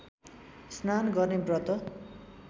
स्नान गर्ने व्रत